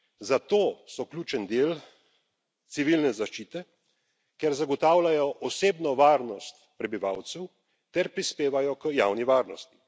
Zato so ključen del civilne zaščite, ker zagotavljajo osebno varnost prebivalcev ter prispevajo k javni varnosti.